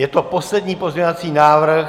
Je to poslední pozměňovací návrh.